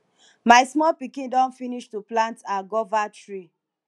my small pikin don finish to plant her guava tree